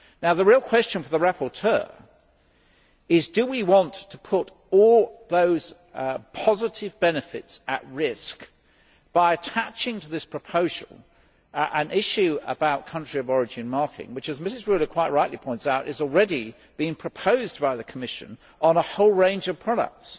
The real question for the rapporteur is whether we want to put all those positive benefits at risk by attaching to this proposal an issue about country of origin marking, which as Mrs Rühle quite rightly points out has already been proposed by the Commission on a whole range of products.